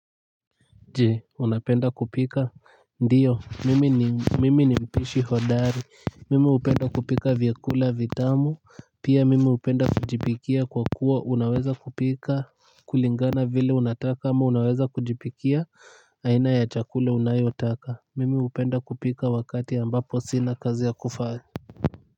Je unapenda kupika ndiyo mimi ni mimi ni mpishi hodari mimi hupenda kupika vyakula vitamu pia mimi hupenda kujipikia kwa kuwa unaweza kupika kulingana vile unataka ama unaweza kujipikia aina ya chakula unayotaka mimi hupenda kupika wakati ambapo sina kazi ya kufanya.